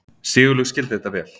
Sigurlaug skildi þetta vel.